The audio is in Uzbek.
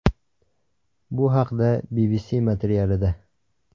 Bu haqda – BBC materialida .